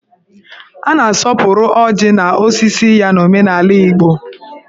A na-asọpụrụ ọjị na osisi ya n'omenala Igbo.